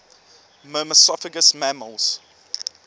myrmecophagous mammals